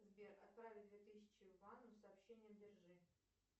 сбер отправь две тысячи ивану с сообщением держи